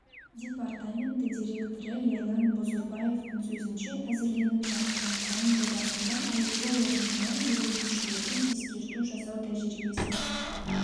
департаменті директоры ерлан бұзырбаевтың сөзінше әзірленіп жатқан заң жобасында айыппұл орнына жүргізушілерге ескерту жасау тәжрибесін